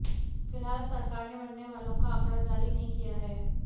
फिलहाल सरकार ने मरने वालों का आंकड़ा जारी नहीं किया है